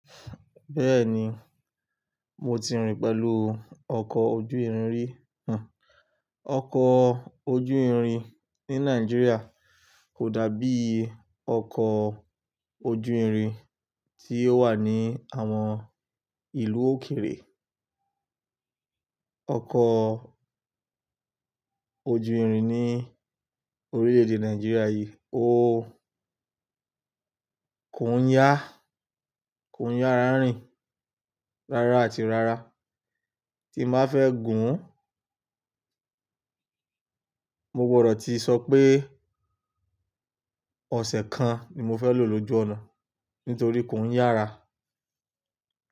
Bẹ́ẹ̀ni, mo ti rìn pẹ̀lú ọkọ̀ ojú irin rí, òun. Ọkọ̀ ojú irin ní Nàìjíríà kò dàbí ọkọ̀ ojú irin tí ó wà ní àwọn ìlú òkèèrè. Ọkọ̀ ojú irin ní orílè-èdè Nàìjíríà yìí, ó kò ń yá, kò ń yá rárìn. Rárá àti rárá, tí màá fẹ́ gùn ún, mo gbọdọ̀ ti sọ pé ọ̀sẹ̀ kan ni mo fẹ́ lò lójú ọ̀nà nítorí kò ń yára.